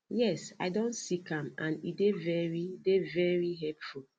yes i don seek am and e dey very dey very helpful